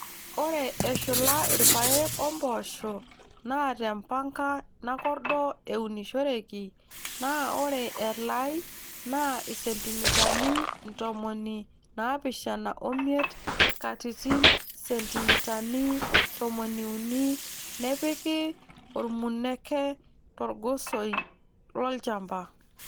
Ore eshula rpayek oo mpoosho naa te mpanka nakordo eunishoreki naa ore elai naa isentimitani ntomoni naapishana omiet katitin sentimitani tomoniuni nepiki ormuneke torgosoi lolchamba.